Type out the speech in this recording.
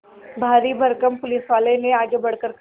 भारीभरकम पुलिसवाले ने आगे बढ़कर कहा